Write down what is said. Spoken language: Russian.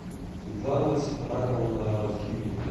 светлана сетраковна разживина